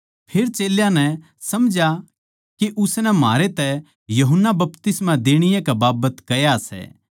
फेर चेल्यां नै समझया के उसनै म्हारै तै यूहन्ना बपतिस्मा देणीये कै बाबत कह्या सै